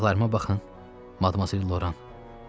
Ayaqlarıma baxın, Madmazel Loran.